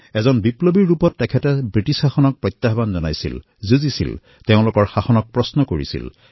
এক ক্ৰান্তিকাৰী ৰূপত তেওঁ ব্ৰিটিছ শাসনক প্ৰত্যাহ্বান জনাইছিল তেওঁলোকৰ বিৰুদ্ধে যুদ্ধ কৰিছিল তেওঁলোকৰ শাসনৰ ওপৰত প্ৰশ্ন কৰিছিল